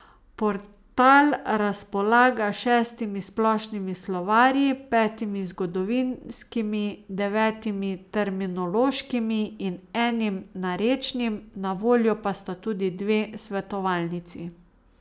Portal razpolaga s šestimi splošnimi slovarji, petimi zgodovinskimi, devetimi terminološkimi in enim narečnim, na voljo pa sta tudi dve svetovalnici.